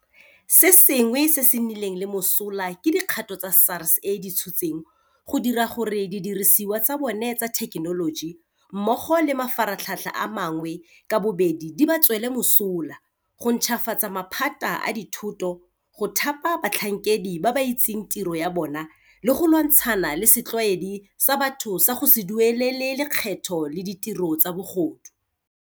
Se sengwe se se nnileng le mosola ke dikgato tse SARS e di tshotseng go dira gore didirisiwa tsa bona tsa thekenoloji mmogo le mafaratlhatlha a mangwe ka bobedi di ba tswele mosola, go ntšhafatsa maphata a dithoto, go thapa batlhankedi ba ba itseng tiro ya bona le go lwantshana le setlwaedi sa batho sa go se duelele lekgetho le ditiro tsa bogodu.